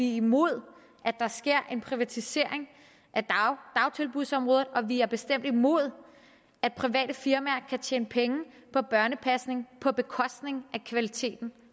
er imod at der sker en privatisering af dagtilbudsområdet og vi er bestemt imod at private firmaer kan tjene penge på børnepasning på bekostning af kvaliteten